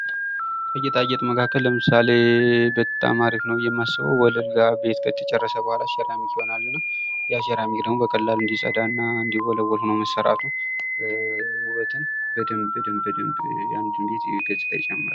ከጌጣጌጥ መካከል ለምሳሌ በጣም አሪፍ ነው ብዬ የማስበው ወለል ጋር ቤት ከተጨረሰ በኋላ ሴራሚክ ይሆናል እና ያ ሴራሚክ ደግሞ በቀላሉ እንዲጸዳና እንዲወለውል ሁኖ መሰረቱ ውበትን በደንብ ፤ በደንብ ፤ በደንብ የአንድን ቤት ገጽታ ይጨምራል ።